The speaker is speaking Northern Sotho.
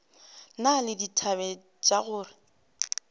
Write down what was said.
na le dithabe tša go